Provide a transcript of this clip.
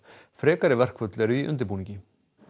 frekari verkföll eru í undirbúningi